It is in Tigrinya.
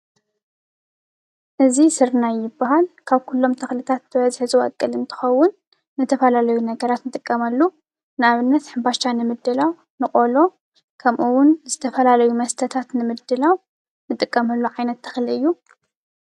እዚ ስርናይ ይባሃል፡፡ ካብ ኩሎም ተኽልታት ብበዝሒ ዝበቁል እንትኸውን ንተፈላለዩ ነገራት ንጥቀመሉ፡፡ ንኣብነት ሕምባሻ ንምድላው፣ ንቆሎ ከምኡ ውን ዝተፈላለዩ መስተታት ንምድላው ንጥቀመሉ ዓይነት ተኽሊ እዩ፡፡